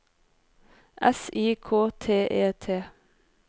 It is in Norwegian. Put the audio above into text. S I K T E T